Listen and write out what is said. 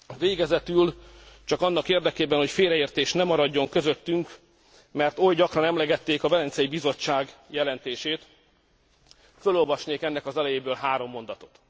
Végezetül csak annak érdekében, hogy félreértés nem maradjon közöttünk, mert oly gyakran emlegették a Velencei Bizottság jelentését, fölolvasnék ennek az elejéből három mondatot.